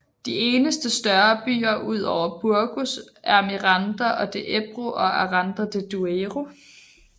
De eneste større byer ud over Burgos er Miranda de Ebro og Aranda de Duero